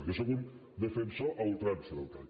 jo sóc un defensor a ultrança del cac